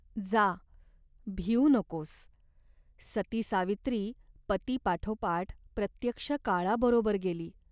जा, भिऊ नकोस. सती सावित्री पतीपाठोपाठ प्रत्यक्ष काळाबरोबर गेली.